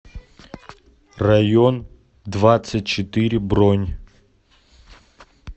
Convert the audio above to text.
район двадцать четыре бронь